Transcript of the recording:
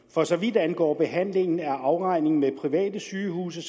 for så vidt angår behandlingen af afregningen med private sygehuse